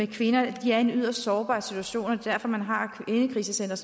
kvinderne at de er i en yderst sårbar situation og derfor man har kvindekrisecentre